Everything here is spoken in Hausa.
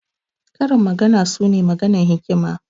Karin magana su ne maganan hikima.